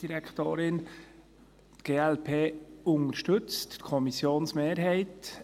Die glp unterstützt die Kommissionsmehrheit.